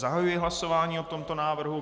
Zahajuji hlasování o tomto návrhu.